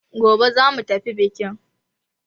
Gobe za mu tafi biƙin!